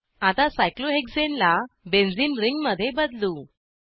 आता सायक्लोहेक्साने ला बेन्झीन रिंगमध्ये बदलू